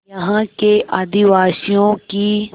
यहाँ के आदिवासियों की